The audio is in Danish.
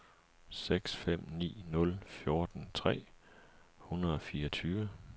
seks fem ni nul fjorten tre hundrede og fireogtyve